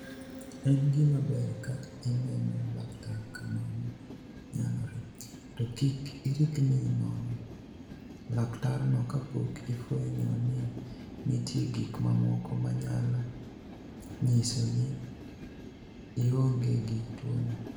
Eni gima ber ka ini eno laktar ka mano niyalore, to kik iriknii nono laktarno kapok ifweniyo nii niitie gik mamoko maniyalo niyiso nii ionige gi tuwono.